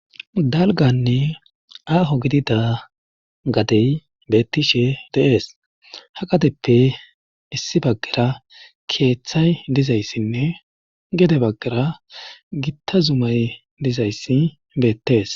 dalganne aaho gidida gadey beettishe deees ha qateppe issi baggera keeththay dizayssinne gede baggera gitta zumay dizayssi beettees